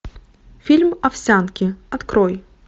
фильм овсянки открой